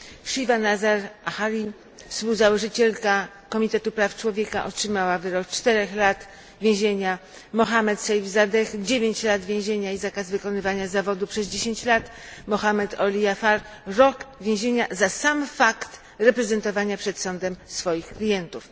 Shiva Nazar Ahari, współzałożycielka Komitetu Praw Człowieka, otrzymała wyrok czterech lat więzienia, Mohammad Seifzadeh, dziewięciu lat więzienia i zakaz wykonywania zawodu przez dziesięć lat, Mohammad Olyaeifard, rok więzienia za sam fakt reprezentowania przed sądem swoich klientów.